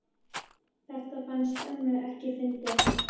Þetta fannst ömmu ekki fyndið.